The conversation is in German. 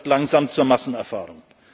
Das wird langsam zur Massenerfahrung.